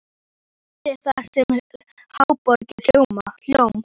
Allt er það sem háborið hjóm.